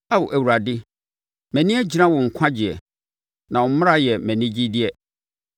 Ao Awurade, mʼani agyina wo nkwagyeɛ, na wo mmara yɛ mʼanigyedeɛ.